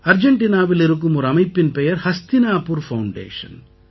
அர்ஜெண்டினாவில் இருக்கும் ஒரு அமைப்பின் பெயர் ஹஸ்தினாபூர் ஃபவுண்டேஷன்